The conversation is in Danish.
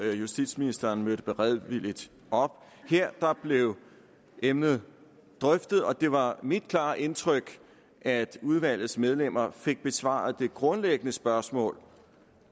justitsministeren mødte beredvilligt op her blev emnet drøftet og det var mit klare indtryk at udvalgsmedlemmer fik besvaret det grundlæggende spørgsmål